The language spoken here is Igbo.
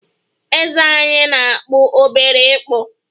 Eze anyị na-akpụ obere ịkpụ